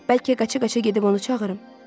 Bəlkə qaça-qaça gedib onu çağırım?